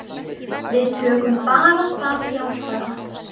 Við tökum bara það jákvæða.